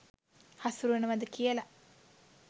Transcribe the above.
හසුරුවනවද කියල.